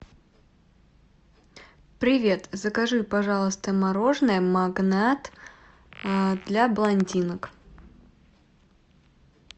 привет закажи пожалуйста мороженое магнат для блондинок